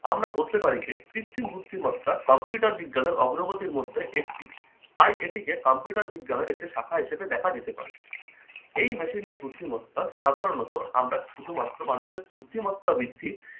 আমরা বলতে পারি যে কৃত্রিম বুদ্ধিমত্তা computer বিজ্ঞানের অগ্রগতির মধ্যে একটি। তাই এটিকে computer বিজ্ঞানের একটি শাখা হিসেবে দেখা যেতে পারে। এই machine এর বুদ্ধিমত্তা সাধারণত আমরা শুধুমাত্র মানুষের বুদ্ধিমত্তা বৃদ্ধির